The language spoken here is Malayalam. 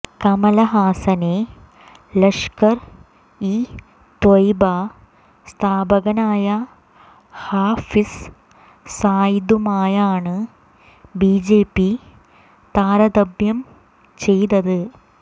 കമല്ഹാസനെ ലഷ്കര് ഇ ത്വയ്ബ സ്ഥാപകനായ ഹാഫിസ് സയിദുമായാണ് ബിജെപി താരതമ്യം ചെയ്തത്